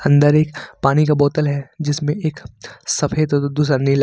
अंदर एक पानी का बोतल है जिसमें एक सफेद दूसरा नीला--